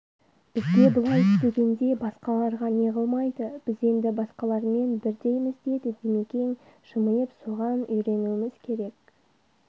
бізге бұлай стегенде басқаларға не қылмайды біз енді басқалармен бірдейміз деді димекең жымиып соған үйренуіміз керек